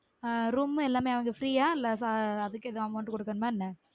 ஆஹ் room எல்லாமே free யா இல்ல அதுக்கு எதுவும் amount குடுக்கனுமா என்ன